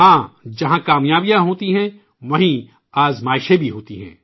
ہاں ! جہاں کامیابیاں ہوتی ہیں، وہاں آزمائشیں بھی ہوتی ہیں